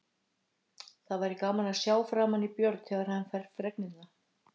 Það væri gaman að sjá framan í Björn, þegar hann fær fregnina.